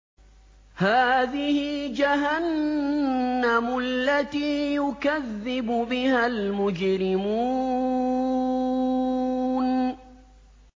هَٰذِهِ جَهَنَّمُ الَّتِي يُكَذِّبُ بِهَا الْمُجْرِمُونَ